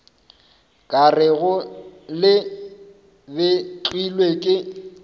ka rego le betlilwe ke